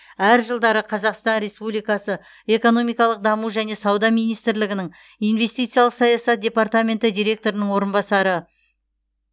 әр жылдары қазақстан республикасы экономикалық даму және сауда министрлігінің инвестициялық саясат департаменті директорының орынбасары